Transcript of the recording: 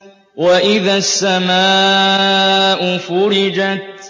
وَإِذَا السَّمَاءُ فُرِجَتْ